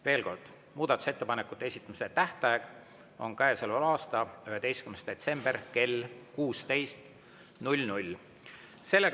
Veel kord: muudatusettepanekute esitamise tähtaeg on käesoleva aasta 11. detsember kell 16.